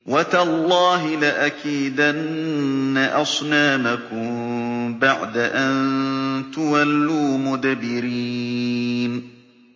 وَتَاللَّهِ لَأَكِيدَنَّ أَصْنَامَكُم بَعْدَ أَن تُوَلُّوا مُدْبِرِينَ